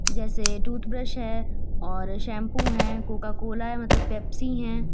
जैसे टूथब्रश है और शैंपू है। कोकाकोला है मतलब पेप्सी है।